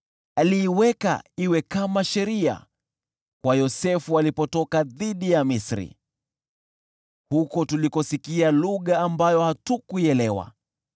Aliiweka iwe kama sheria kwa Yosefu alipotoka dhidi ya Misri, huko tulikosikia lugha ambayo hatukuielewa.